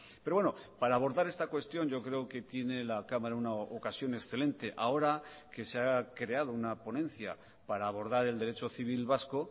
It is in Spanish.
pero bueno para abordar esta cuestión yo creo que tiene la cámara una ocasión excelente ahora que se ha creado una ponencia para abordar el derecho civil vasco